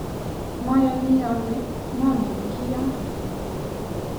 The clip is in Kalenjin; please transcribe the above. mayani ale maangen kiyoe